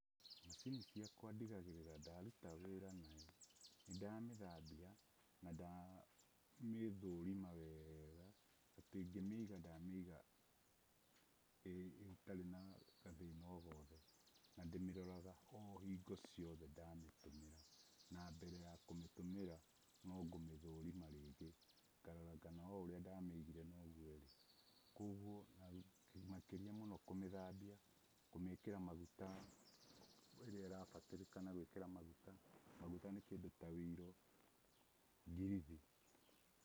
Macini ciakwa ndigagĩrĩra ndaruta wĩra nayo nĩ ndamĩthambia na ndamĩthũrima wega atĩ ngĩmĩiga ndamĩiga ĩtarĩ na gathina o gothe na ndĩmĩroraga o hingo ciothe ndamĩtũmĩra na mbere ya kũmĩtũmĩra no ngũmĩthũrima rĩngĩ ngarora kana o ũrĩa ndamĩigire nogũo ĩrĩ, makĩrĩa mũno kũmĩthambia, kũmĩkĩra maguta irĩa ĩrabataranĩka gwĩkĩrwo maguta, maguta nĩ kĩndũ ta woiro kana ngirithi.